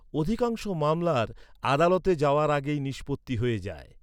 অধিকাংশ মামলার আদালতে যাওয়ার আগেই নিষ্পত্তি হয়ে যায়।